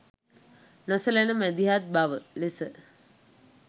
නොසැලෙන මැදිහත් බව ලෙස